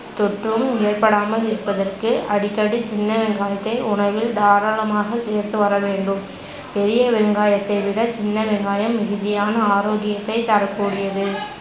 தொற்றும் ஏற்படாமல் இருப்பதற்கு அடிக்கடி சின்னவெங்காயத்தை உணவில் தாரளமாக சேர்த்து வரவேண்டும். பெரியவெங்காயத்தை விட சின்னவெங்காயம் மிகுதியான ஆரோக்கியத்தைத் தரக்கூடியது